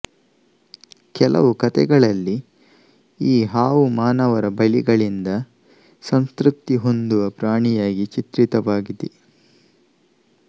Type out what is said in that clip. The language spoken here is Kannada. ಕೆಲವು ಕತೆಗಳಲ್ಲಿ ಈ ಹಾವು ಮಾನವರ ಬಲಿಗಳಿಂದ ಸಂತೃಪ್ತಿ ಹೊಂದುವ ಪ್ರಾಣಿಯಾಗಿ ಚಿತ್ರಿತವಾಗಿದೆ